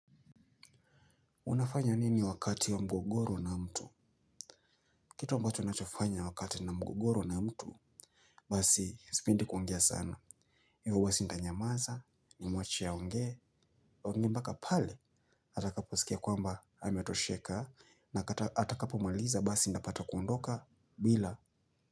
Unafanya nini wakati wa mgogoro na mtu? Kitu ambacho ninachofanya wakati nina mgogoro na mtu. Basi, sipendi kuongea sana. Mimi basi nitanyamaza, nimwache aongee. Aongee mpaka pale, atakaposikia kwamba ametosheka. Na atakapomaliza, basi nitapata kuondoka, bila.